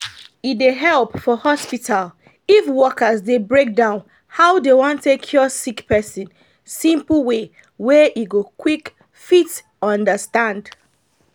e dey help for hospital if workers dey break down how dey wan take cure sick person simple way wey e go quick fit understand